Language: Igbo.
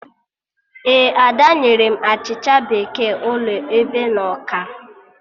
Ee, Ada nyere m achịcha bekee ụlọ ebe na ọkara